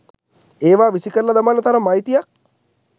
ඒවා විසිකරල දමන්න තරම් අයිතියක්